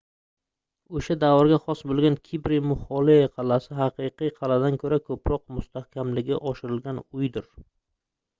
oʻsha davrga xos boʻlgan kibri muxloe qalʼasi haqiqiy qalʼadan koʻra koʻproq mustahkamligi oshirilgan uydir